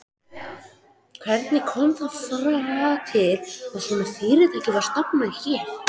Hvernig kom það til að svona fyrirtæki var stofnað hér?